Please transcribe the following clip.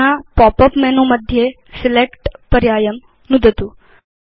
अधुना pop up menu मध्ये select पर्यायं नुदतु